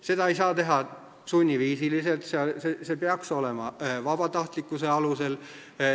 Seda ei saa teha sunniviisiliselt, see peaks olema vabatahtlikkuse alusel.